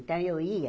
Então, eu ia,